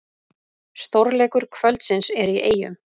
Stórleikur kvöldsins er í Eyjum